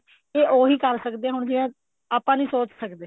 ਇਹ ਉਹੀ ਕਰ ਸਕਦੀਆਂ ਨੇ ਜਿਹੜਾ ਆਪਾਂ ਨਹੀਂ ਸੋਚ ਸਕਦੇ